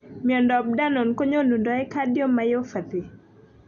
Miondop danon konyonundoi cardiomyopathy.